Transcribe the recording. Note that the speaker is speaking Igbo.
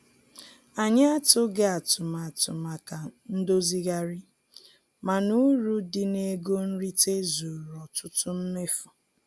Anyị atụghị atụmatụ maka ndozigharị, mana uru dị n'ego nrite zuru ọtụtụ mmefu.